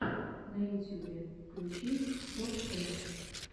на ютюбе включи топ тэн